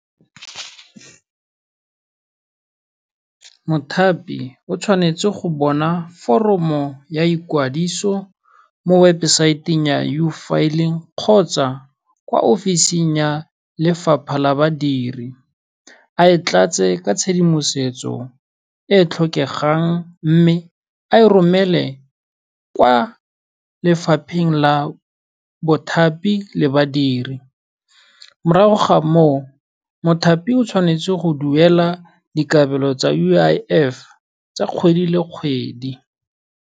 Mothapi o tshwanetse go bona foromo ya ikwadiso, mo webosaeteng ya U-Filling kgotsa kwa office-ing ya Lefapha la Badiri a e tlatse ka tshedimosetso e e tlhokegang mme a e romele kwa lefapheng la bothapi le badiri, morago ga moo, mothapi o tshwanetse go duela dikabelo tsa U_I_F tsa kgwedi le kgwedi.